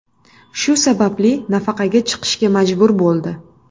Shu sababli nafaqaga chiqishga majbur bo‘ldi.